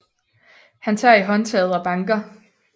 Han tager i håndtaget og banker